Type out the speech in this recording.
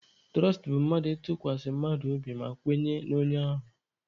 Tụrọst bụ mmadụ ịtụkwasị mmadụ obi ma kwenye n'onye ahụ.